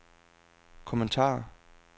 kommentar